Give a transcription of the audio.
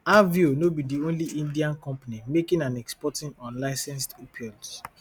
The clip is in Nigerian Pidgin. aveo no be di only indian company making and exporting unlicensed opioids